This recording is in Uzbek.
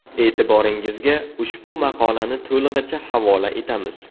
E’tiboringizga ushbu maqolani to‘lig‘icha havola etamiz.